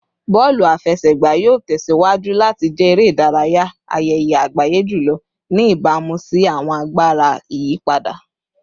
Bọọlu afẹsẹgba yoo tẹsiwaju lati jẹ ere-idaraya ayẹyẹ agbaye julọ, ni ibamu si awọn agbara iyipada